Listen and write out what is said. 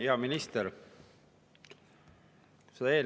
Hea minister!